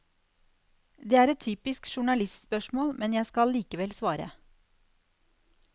Det er et typisk journalistspørsmål, men jeg skal likevel svare.